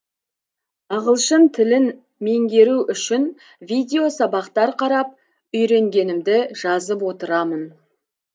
ағылшын тілін меңгеру үшін видеосабақтар қарап үйренгенімді жазып отырамын